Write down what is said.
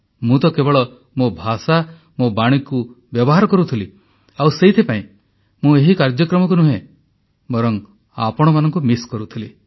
ମୁଁ ତ କେବଳ ମୋ ଭାଷା ମୋ ବାଣୀକୁ ବ୍ୟବହାର କରୁଥିଲି ଆଉ ସେଥିପାଇଁ ମୁଁ ଏହି କାର୍ଯ୍ୟକ୍ରମକୁ ନୁହେଁ ବରଂ ଆପଣମାନଙ୍କୁ ମିସ୍ କରୁଥିଲି